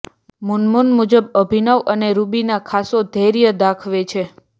મુનમુન મુજબ અભિનવ અને રુબીના ખાસો ધૈર્ય દાખવે છે